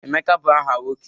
Emeka bụ aha nwoke